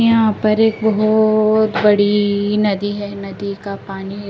यहां पर एक बहोत बड़ी नदी है नदी का पानी--